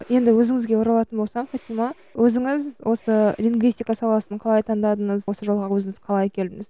енді өзіңізге оралатын болсақ фатима өзіңіз осы лингвистика саласын қалай таңдадыңыз осы жолға өзіңіз қалай келдіңіз